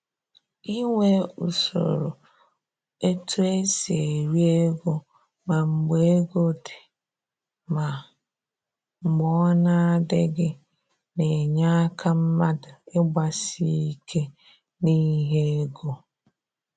Inwe usoro e tu esi eri ego ma mgbe ego dị ma mgbe ọ na adịghị, na-enye aka mmadụ ịgbasi ike n'ihe ego